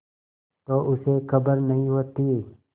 तो उसे खबर नहीं होती